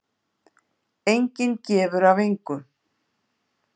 Enginn gefur af engu.